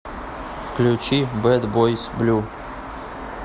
включи бэд бойс блю